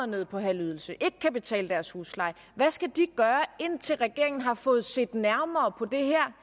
ned på en halv ydelse ikke kan betale deres husleje gøre indtil regeringen har fået set nærmere på det her